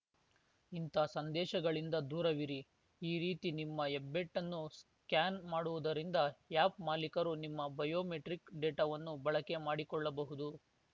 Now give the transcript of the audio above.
ಇಂಥ ಸಂದೇಶಗಳಿಂದ ದೂರವಿರಿ ಈ ರೀತಿ ನಿಮ್ಮ ಹೆಬ್ಬೆಟ್ಟನ್ನು ಸ್ಕ್ಯಾನ್‌ ಮಾಡುವುದರಿಂದ ಆ್ಯಪ್‌ ಮಾಲೀಕರು ನಿಮ್ಮ ಬಯೋಮೆಟ್ರಿಕ್‌ ಡೇಟಾವನ್ನು ಬಳಕೆ ಮಾಡಿಕೊಳ್ಳಬಹುದು